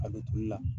A don tulu la